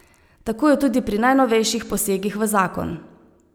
Tako je tudi pri najnovejših posegih v zakon.